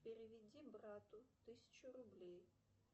переведи брату тысячу рублей